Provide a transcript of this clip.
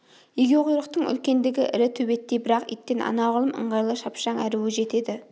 егеуқұйрықтың үлкендігі ірі төбеттей бірақ иттен анағұрлым ыңғайлы шапшаң әрі өжет еді